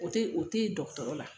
O tɛyi o tɛyi dɔgɔtɔrɔ la.